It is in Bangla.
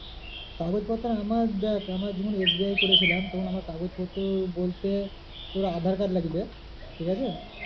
কাগজপত্র আমার দেখ আমার যখন SBI এ করেছিলাম তখন আমার কাগজ পত্র বলতে তোর aadhaar card লাগবে ঠিক আছে।